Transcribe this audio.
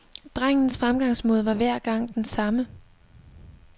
Drengens fremgangsmåde var hver gang den samme.